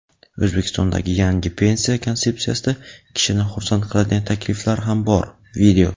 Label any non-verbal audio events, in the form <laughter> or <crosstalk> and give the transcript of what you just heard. O‘zbekistondagi yangi pensiya konsepsiyasida kishini xursand qiladigan takliflar ham bor. <video>